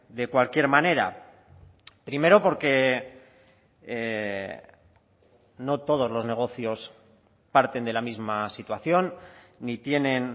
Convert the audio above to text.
de cualquier manera primero porque no todos los negocios parten de la misma situación ni tienen